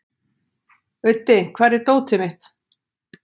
Auddi, hvar er dótið mitt?